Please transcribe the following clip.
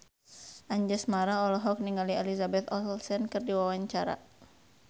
Anjasmara olohok ningali Elizabeth Olsen keur diwawancara